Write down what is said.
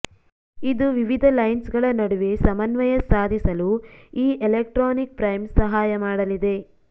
ಇದು ವಿವಿಧ ಲೈನ್ಸ್ಗಳ ನಡುವೆ ಸಮನ್ವಯ ಸಾಧಿಸಲು ಈ ಎಲೆಕ್ಟ್ರಾನಿಕ್ ಫ್ರೈಮ್ ಸಹಾಯ ಮಾಡಲಿದೆ